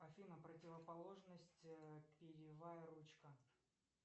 афина противоположность перьевая ручка